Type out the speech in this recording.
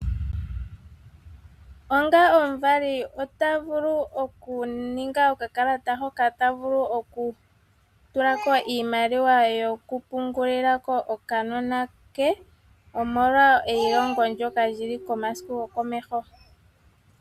Onga omuvali ota vulu okuninga okakalata hoka ta vulu okutula ko iimaliwa yokupungulila ko okanona ke omolwa eilongo ndyoka li li komasiku gokomeho